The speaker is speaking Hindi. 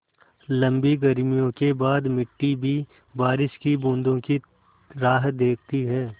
लम्बी गर्मियों के बाद मिट्टी भी बारिश की बूँदों की राह देखती है